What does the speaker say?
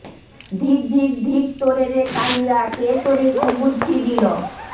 ধিক্ ধিক্ ধিক্ তোরে রে কালিয়া কে তোরে কুবুদ্ধি দিল